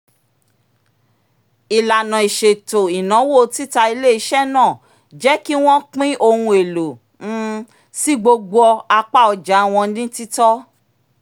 ìlànà ìṣètò ináwó tita ilé-iṣẹ́ náà jẹ́ kí wọ́n pín ohun èlò um sí gbogbo apá ọja wọn ní títọ́